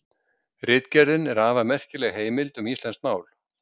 Ritgerðin er afar merkileg heimild um íslenskt mál.